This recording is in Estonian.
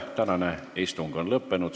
Tänane istung on lõppenud.